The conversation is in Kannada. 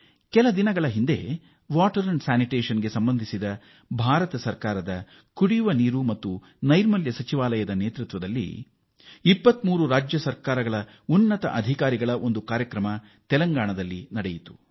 ಇತ್ತೀಚೆಗೆ ತೆಲಂಗಾಣದಲ್ಲಿ ಭಾರತ ಸರ್ಕಾರದ ಜಲ ಮತ್ತು ನೈರ್ಮಲ್ಯ ಸಚಿವಾಲಯ ಕಾರ್ಯದರ್ಶಿಗಳ ನೇತೃತ್ವದಲ್ಲಿ ಕಾರ್ಯಕ್ರಮವೊಂದನ್ನು ಆಯೋಜಿಸಲಾಗಿತ್ತು ಇದರಲ್ಲಿ 23 ರಾಜ್ಯ ಸರ್ಕಾರಗಳ ಹಿರಿಯ ಅಧಿಕಾರಿಗಳು ಭಾಗವಹಿಸಿದ್ದರು